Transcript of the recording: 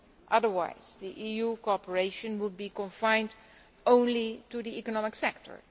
to act otherwise, EU cooperation will be confined only to the economic